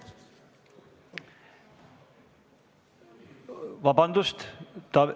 Vabandust, Taavi ...